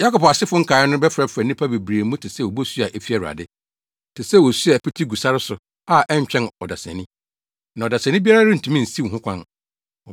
Yakob asefo nkae no bɛfrafra nnipa bebree mu te sɛ obosu a efi Awurade, te sɛ osu a ɛpete gu sare so a ɛntwɛn ɔdesani, na ɔdesani biara rentumi nsiw ho kwan.